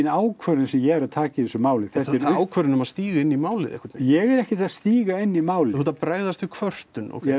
ákvörðun sem ég er að taka í þessu máli þetta ákvörðun um að stíga inn í málið einhvern ég er ekkert að stíga inn í málið þú ert að bregðast við kvörtun ókei